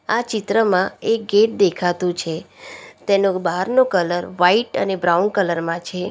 આ ચિત્રમાં એક ગેટ દેખાતું છે તેનો બહારનો કલર વાઇટ અને બ્રાઉન કલર માં છે.